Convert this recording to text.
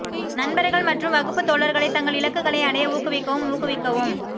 நண்பர்கள் மற்றும் வகுப்பு தோழர்களை தங்கள் இலக்குகளை அடைய ஊக்குவிக்கவும் ஊக்குவிக்கவும்